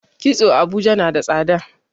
kitso a Abuja nada tsada